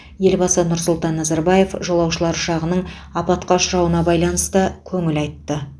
елбасы нұр сұлтан назарбаев жолаушылар ұшағының апатқа ұшырауына байланысты көңіл айтты